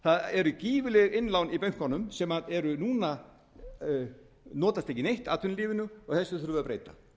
eru gífurleg innlán í bönkunum sem notast ekki neinn atvinnulífinu og þessu þurfum við að breyta